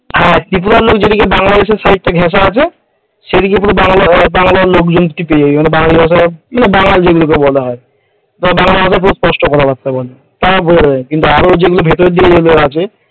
হ্যাঁ ত্রিপুরার লোক যেদিকে বাংলাদেশের side ঘাসা আছে সেই দিকে পুরো বাংলার লোকজনকে তুই পেয়ে যাবে বা আমাদের বাংলা ভাষা বাঙাল যেগুলো কে বলা হয় বাঙাল ভাষায় খুব স্পষ্ট কথাবার্তা বলে আর যেগুলো ভিতর দিকে আছে।